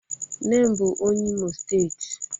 nne m bu onye Imo state